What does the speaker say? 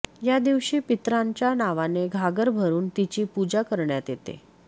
या दिवशी पितरांच्या नावाने घागर भरून तिची पूजा करण्यात येते